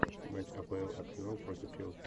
матч апл арсенал против челси